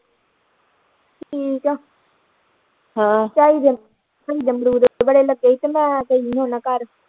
ਠੀਕ ਆ ਝਾਈ ਦੇ ਅਮਰੂਦ ਬੜੇ ਲੱਗੇ ਹੀ ਕੱਲ ਗਈ ਤੇ ਮੈਂ ਗਈ ਹੀ ਉਨਾਂ ਘਰ